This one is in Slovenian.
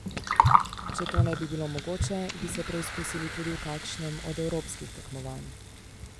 Če to ne bi bilo mogoče, bi se preizkusili tudi v kakšnem od evropskih tekmovanj.